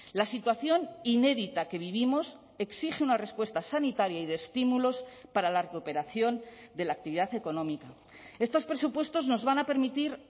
la situación inédita que vivimos exige una respuesta sanitaria y de estímulos para la cooperación de la actividad económica estos presupuestos nos van a permitir